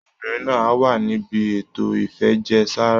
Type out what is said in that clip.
Obìnrin náà á wà níbi ètò ìfẹ̀jẹ̀ sára